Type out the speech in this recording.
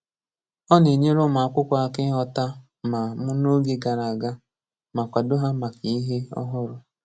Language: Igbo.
Ọ na-enyere ụmụ akwụkwọ aka ịghọta ma mu n’oge gara aga ma kwado ha maka ihe ọhụrụ.